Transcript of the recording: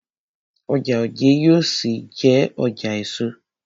Ọjà Ojé yóò ṣì jé ọjà èso.